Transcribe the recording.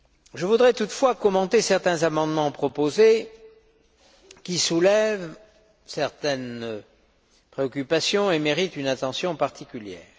Je voudrais toutefois commenter certains amendements proposés, qui soulèvent certaines préoccupations et méritent une attention particulière.